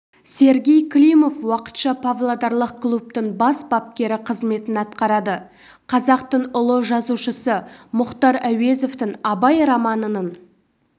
сергей климов уақытша павлодарлық клубтың бас бапкері қызметін атқарады қазақтың ұлы жазушысы мұхтар әуезовтің абай романының